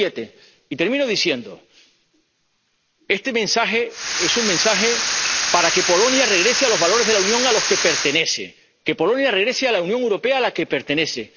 7. Y termino diciendo este mensaje es un mensaje para que Polonia regrese a los valores de la Unión a los que pertenece, para que Polonia regrese a la Unión Europea, a la que pertenece.